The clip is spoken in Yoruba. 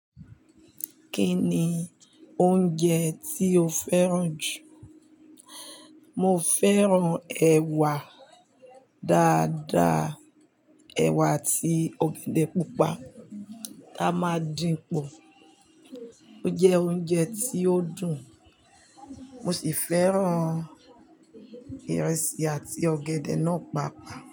Kí ni oúnjẹ tí o fẹ́ràn jù? Mo fẹ́ràn ẹ̀wà dáadáa, ẹ̀wà àti ọ̀gẹ̀dẹ̀ pupa tá máa dín pò. Ó jẹ oúnjẹ tí ó dùn, mo sì fẹ́ràn ìrẹsì àti ọ̀gẹ̀dẹ̀ náà pàápàá.